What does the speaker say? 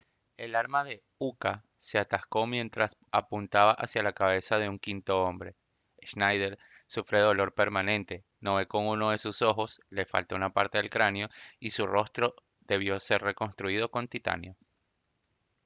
el arma de uka se atascó mientras apuntaba hacia la cabeza de un quinto hombre schneider sufre dolor permanente no ve con uno de sus ojos le falta una parte del cráneo y su rostro debió ser reconstruido con titanio